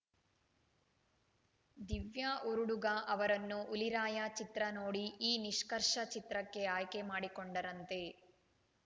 ದಿವ್ಯಾ ಉರುಡುಗ ಅವರನ್ನು ಹುಲಿರಾಯ ಚಿತ್ರ ನೋಡಿ ಈ ನಿಷ್ಕರ್ಷ ಚಿತ್ರಕ್ಕೆ ಆಯ್ಕೆ ಮಾಡಿಕೊಂಡರಂತೆ